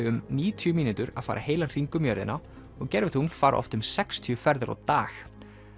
um níutíu mínútur að fara heilan hring um jörðina og gervitungl fara oft sextíu ferðir á dag